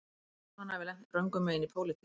Þó svo að hann hafi lent röngum megin í pólitík